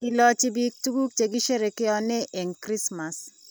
Ilochi biik tukuk che kisherekeanen eng krismas